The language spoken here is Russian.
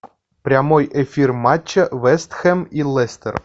прямой эфир матча вест хэм и лестер